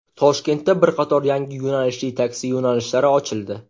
Toshkentda bir qator yangi yo‘nalishli taksi yo‘nalishlari ochildi.